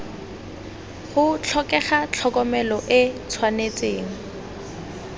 go tlhokega tlhokomelo e tshwanetse